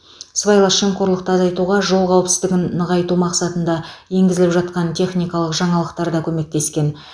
сыбайлас жемқорлықты азайтуға жол қауіпсіздігін нығайту мақсатында енгізіліп жатқан техникалық жаңалықтар да көмектескен